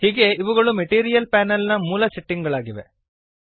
ಹೀಗೆ ಇವುಗಳು material panel ನ ಮೂಲ ಸೆಟ್ಟಿಂಗ್ ಗಳಾಗಿವೆ